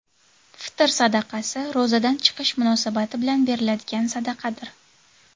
Fitr sadaqasi ro‘zadan chiqish munosabati bilan beriladigan sadaqadir.